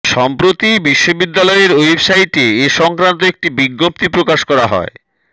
সম্প্রতি বিশ্ববিদ্যালয়ের ওয়েবসাইটে এ সংক্রান্ত একটি বিজ্ঞপ্তি প্রকাশ করা হয়